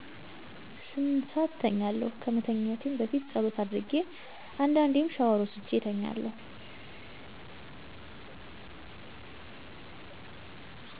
ስምንት ሰአት እተኛለሁ። ከመተኛቴም በፊትጸሎት አድርጌ አንዴዴም ሻወር ወስጄ እተኛለሁ።